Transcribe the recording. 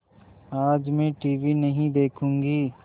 आज मैं टीवी नहीं देखूँगी